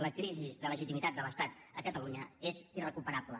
la crisi de legitimitat de l’estat a catalunya és irrecuperable